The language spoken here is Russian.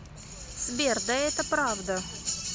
сбер да это правда